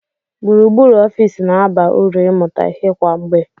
Gburugburu ọfịs na-aba uru ịmụta ihe kwa mgbe.